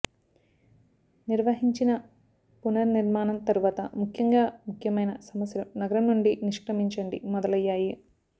నిర్వహించిన పునర్నిర్మాణం తరువాత ముఖ్యంగా ముఖ్యమైన సమస్యలు నగరం నుండి నిష్క్రమించండి మొదలయ్యాయి